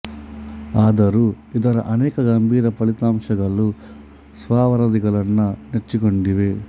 ಆದರೂ ಇದರ ಅನೇಕ ಗಂಭೀರ ಫಲಿತಾಂಶಗಳು ಸ್ವ ವರದಿಗಳನ್ನ ನೆಚ್ಚಿಕೊಂಡಿವೆ